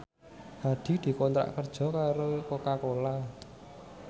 Hadi dikontrak kerja karo Coca Cola